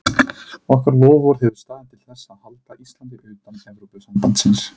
Okkar loforð hefur staðið til þess að halda Íslandi utan Evrópusambandsins.